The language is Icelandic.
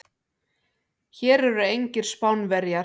Hér eru engir Spánverjar.